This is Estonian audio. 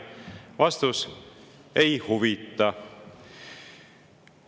Vastus: ei huvita.